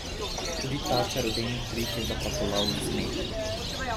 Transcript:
Tudi ta čarodejni trik je zaplapolal v smeh.